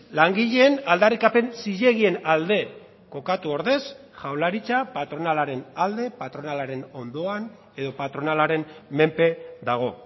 langileen aldarrikapen zilegien alde kokatu ordez jaurlaritza patronalaren alde patronalaren ondoan edo patronalaren menpe dago